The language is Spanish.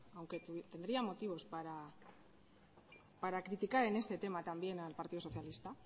aunque tendría motivos para criticar en este tema también al partido socialista